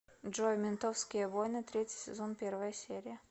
джой ментовские войны третий сезон первая серия